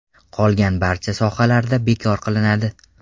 Qolgan barcha sohalarda bekor qilinadi.